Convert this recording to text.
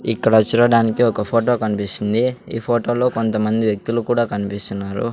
ఇక్కడ చూడడానికి ఒక ఫోటో కనిపిస్తుంది ఈ ఫోటోలో కొంతమంది వ్యక్తులు కూడా కనిపిస్తున్నారు.